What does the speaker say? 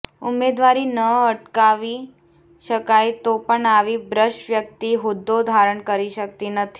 ઉમેદવારી ન અટકાવી શકાય તો પણ આવી ભ્રષ્ટ વ્યક્તિ હોદ્દો ધારણ કરી શકતી નથી